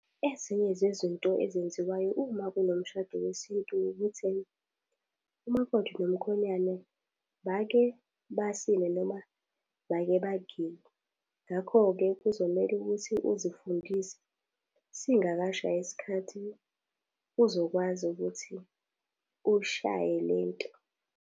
Ezinye zezinto ezenziwayo uma kunomshado weSintu ukuthi, umakoti nomkhonyane bake basine noma bake bagiye. Ngakho-ke kuzomele ukuthi uzifundise singakashayi isikhathi, uzokwazi ukuthi uy'shaye lento.